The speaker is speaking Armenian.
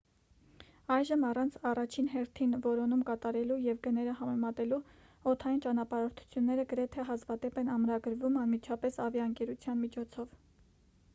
այժմ առանց առաջին հերթին որոնում կատարելու և գները համեմատելու օդային ճանապարհորդությունները գրեթե հազվադեպ են ամրագրվում անմիջապես ավիաընկերության միջոցով